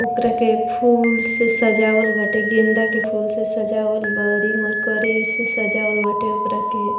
ओकरा के फूल से सजवल बाटे गेंदा से फूल से सजावल बा अउरी मर्करियों से सजावल बाटे ओकरा के।